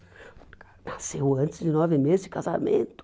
Nasceu antes de nove meses de casamento.